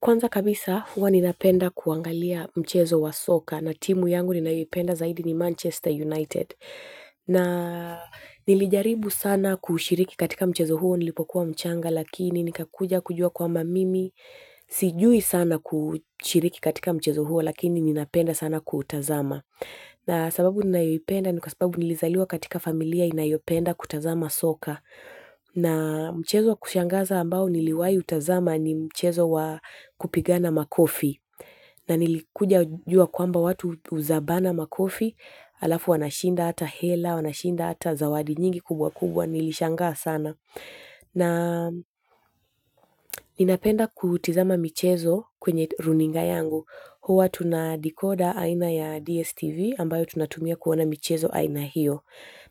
Kwanza kabisa huwa ninapenda kuangalia mchezo wa soka na timu yangu ninayoipenda zaidi ni Manchester United. Na nilijaribu sana kushiriki katika mchezo huo nilipokuwa mchanga lakini nikakuja kujua kwamba mimi. Sijui sana kushiriki katika mchezo huo lakini ninapenda sana kutazama. Na sababu ninayoipenda ni kwa sababu nilizaliwa katika familia inayopenda kutazama soka. Na mchezo wa kushangaza ambao niliwahi kutazama ni mchezo wa kupigana makofi na nilikuja kujua kwamba watu huzabana makofi halafu wanashinda hata hela wanashinda hata zawadi nyingi kubwa kubwa nilishangaa sana. Na ninapenda kutizama michezo kwenye runinga yangu huwa tuna decoda aina ya DSTV ambayo tunatumia kuona michezo aina hiyo.